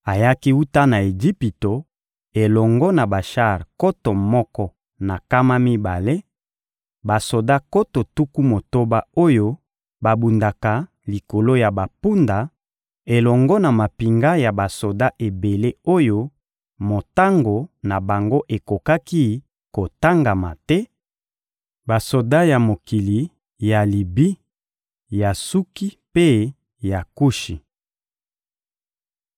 Ayaki wuta na Ejipito elongo na bashar nkoto moko na nkama mibale, basoda nkoto tuku motoba oyo babundaka likolo ya bampunda elongo na mampinga ya basoda ebele oyo motango na bango ekokaki kotangama te: basoda ya mokili ya Libi, ya Suki mpe ya Kushi.